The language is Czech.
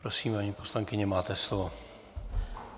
Prosím, paní poslankyně, máte slovo.